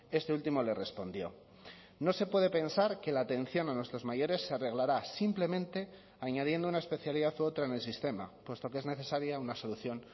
este último le respondió no se puede pensar que la atención a nuestros mayores se arreglará simplemente añadiendo una especialidad u otra en el sistema puesto que es necesaria una solución